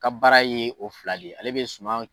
Ka baara ye o fila de ye, ale bɛ suma.